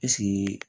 Ɛseke